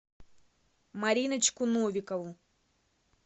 мариночку новикову